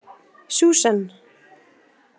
Susan